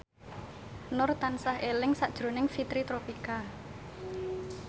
Nur tansah eling sakjroning Fitri Tropika